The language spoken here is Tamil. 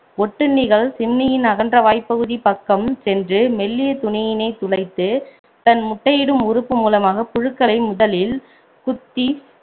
ஒட்டுண்ணிகள் சிம்னியின் அகன்ற வாய்ப்பகுதி பக்கம் சென்று மெல்லிய துணியினைத் துளைத்து தன் முட்டையிடும் உறுப்பு மூலமாக புழுக்களை முதலில் குத்தி